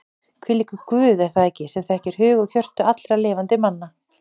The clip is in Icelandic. Hvílíkur Guð er það ekki sem þekkir hug og hjörtu allra lifandi manna?